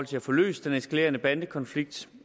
til at få løst den eskalerende bandekonflikt